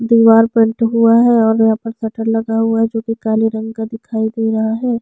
दिवार पेन्ट हुआ है और यहाँ पर शटर लगा हुआ है जो कि काले रंग का दिखाई दे रहा है।